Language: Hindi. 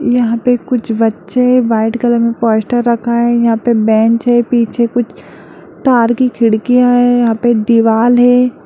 यहां पे कुछ बच्चे-- व्हाइट कलर में पोस्टर रखा है यहां पे बेंच है पीछे कुछ तार की खिड़कियां है यहां पर दीवाल है।